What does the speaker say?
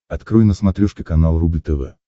открой на смотрешке канал рубль тв